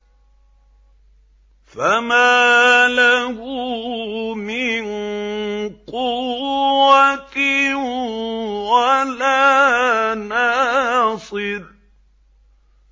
فَمَا لَهُ مِن قُوَّةٍ وَلَا نَاصِرٍ